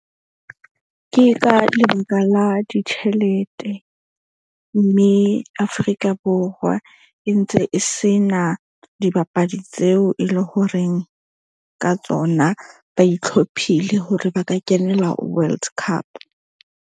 Ke ka lebaka la ditjhelete mme Afrika Borwa e ntse e sena dibapadi tseo e leng horeng ka tsona. Ba itlhophise hore ba ka kenela World Cup.